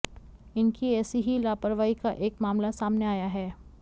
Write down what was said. इनकी ऐसी ही लापरवाही का एक मामला सामने आया है